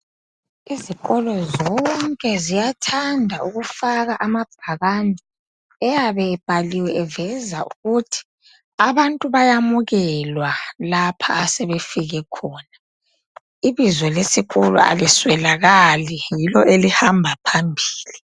Izikolo zonke ziyathanda ukufaka amabhakane eyabe ebhaliwe eveza ukuthi abantu bayamukelwa lapha asebefike khona. Ibizo lesikolo aliswelakali yilo elihamba phambili.